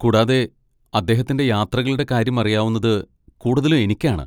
കൂടാതെ, അദ്ദേഹത്തിന്റെ യാത്രകളുടെ കാര്യം അറിയാവുന്നത് കൂടുതലും എനിക്കാണ്.